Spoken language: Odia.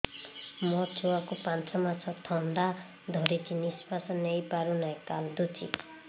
ମୋ ଛୁଆକୁ ପାଞ୍ଚ ମାସ ଥଣ୍ଡା ଧରିଛି ନିଶ୍ୱାସ ନେଇ ପାରୁ ନାହିଁ କାଂଦୁଛି